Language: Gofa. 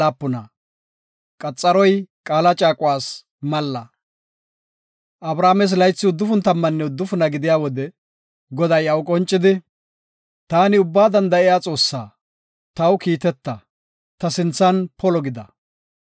Abrames laythi uddufun tammanne uddufuna gidiya wode, Goday iyaw qoncidi, “Taani Ubbaa Danda7iya Xoossa, taw kiiteta, ta sinthan polo gida.